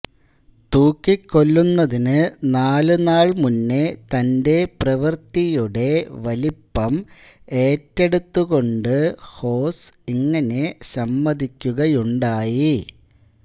തൂക്കിക്കൊല്ലുന്നതിനു നാലുനാൾ മുന്നേ തന്റെ പ്രവൃത്തിയുടെ വലിപ്പം ഏറ്റെടുത്തുകൊണ്ട് ഹോസ്സ് ഇങ്ങനെ സമ്മതിക്കുകയുണ്ടായി